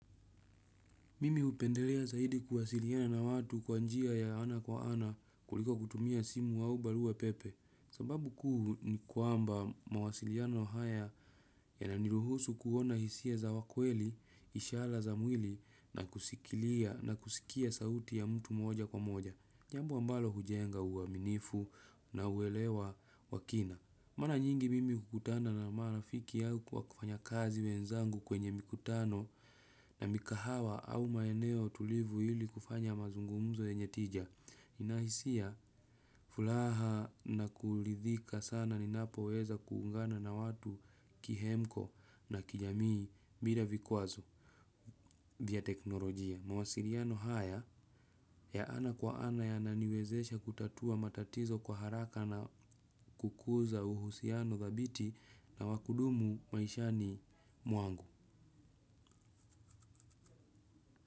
Mimi hupendelea zaidi kuwasiliana na watu kwa njia ya ana kwa ana kuliko kutumia simu au barua pepe. Sababu kuu ni kuamba mawasiliano haya yananiruhusu kuona hisia za wa kweli, ishara za mwili na kusikilia na kusikia sauti ya mtu moja kwa moja. Jambo ambalo hujenga uaminifu na uelewa wa kina. Mara nyingi mimi hukutana na marafiki au kwa kufanya kazi wenzangu kwenye mikutano na mikahawa au maeneo tulivu ili kufanya mazungumzo yenye tija. Nina hisia, furaha na kuridhika sana ninapoweza kuungana na watu kihemko na kijamii bila vikwazo vya teknolojia. Mawasiliano haya ya ana kwa ana yananiwezesha kutatua matatizo kwa haraka na kukuza uhusiano thabiti na wa kudumu maisha ni mwangu.